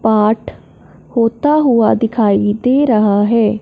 पाठ होता हुआ दिखाई दे रहा है।